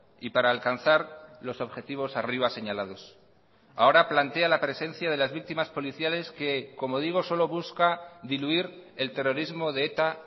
y para alcanzar los objetivos arriba señalados ahora plantea la presencia de las víctimas policiales que como digo solo busca diluir el terrorismo de eta